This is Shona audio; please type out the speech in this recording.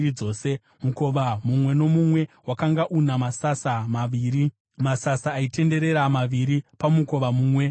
Mukova mumwe nomumwe wakanga una masasa maviri, masasa aitenderera maviri pamukova mumwe nomumwe.